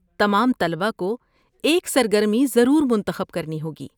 تمام طلبہ کو ایک سرگرمی ضرور منتخب کرنی ہوگی۔